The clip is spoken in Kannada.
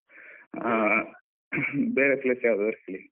ಆ ಬೇರೇ place ಯಾವುದಾದ್ರು ಹೇಳಿ.